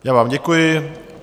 Já vám děkuji.